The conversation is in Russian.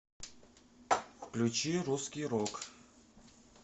включи русский рок